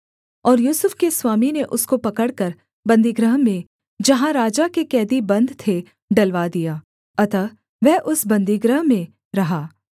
और यूसुफ के स्वामी ने उसको पकड़कर बन्दीगृह में जहाँ राजा के कैदी बन्द थे डलवा दिया अतः वह उस बन्दीगृह में रहा